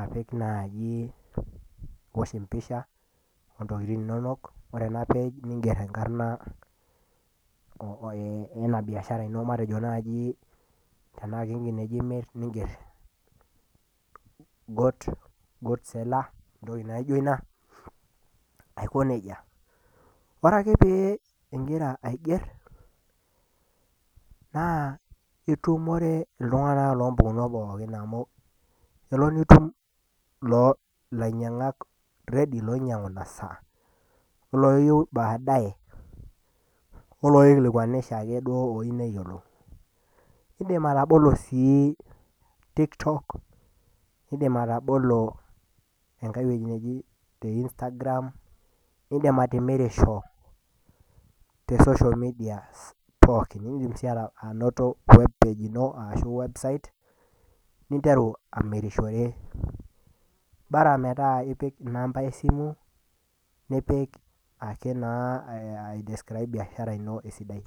apik iosh empisha nipik intokiting inonok ninger enkarna onena tokiting inonok tenaa kenkineji naaji imir ninger goat seller Aiko nejia ore ake pee ingira aiger naa itumore iltunganak loompukon pookin amu elo nitumore iltunganak loinyangu inasaa oloyieu baadae oloikilikwanisho duake looyieu neyiolou ,indim sii atabolo eweji nejia TikTok nindim atabolo Instagram nindim atimirisho te social media pookin nindim sii anoto webpage ino ashu website ninteru amirishore Bora metaa ipik namba asimu nipik ake naa naa aidiscrib biashara ino esidai.